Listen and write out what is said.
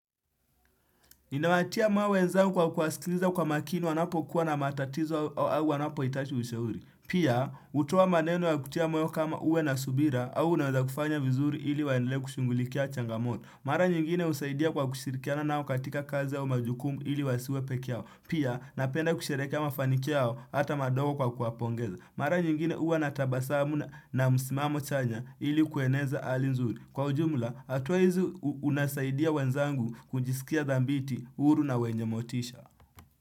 Ninawatia moyo wenzangu kwa kuwasikiliza kwa makini wanapokuwa na matatizo au wanapoitaji ushauri. Pia, hutoa maneno ya kutia moyo kama uwe na subira au unaweza kufanya vizuri ili waendelee kushungulikia changamoto Mara nyingine husaidia kwa kushirikiana nao katika kazi au majukumu ili wasiwe peke yao. Pia, napenda kusherekea mafanikio yao hata madogo kwa kuwapongeza. Mara nyingine uwa natabasamu na msimamo chanya ili kueneza ali nzuri. Kwa ujumla, hatuwezi unasaidia wenzangu kujisikia dhambiti, huru na wenye motisha.